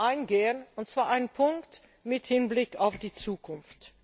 eingehen, und zwar einen Punkt mit Blick auf die Zukunft.